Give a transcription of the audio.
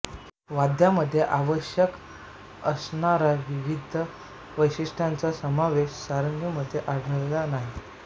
वाद्यामध्ये आवश्यक असणारा विविध वैशिष्ट्यांचा समावेश सारंगीमध्ये आढळला नाही